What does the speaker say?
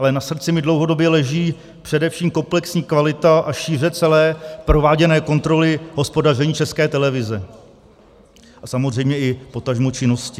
Ale na srdci mi dlouhodobě leží především komplexní kvalita a šíře celé prováděné kontroly hospodaření České televize a samozřejmě potažmo i činnosti.